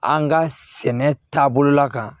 An ka sɛnɛ taabolo la ka